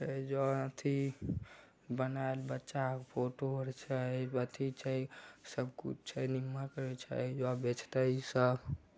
ए जो अथी बनाएल बच्चा आर के फोटो आर छै अथी छै सब कुछ छै निमक आर छै ज बेचते इ सब।